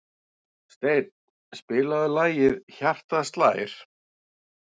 Steinn, spilaðu lagið „Hjartað slær“.